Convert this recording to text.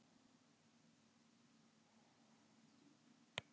Tæplega fjórðungur af ríkjum heims eru landlukt.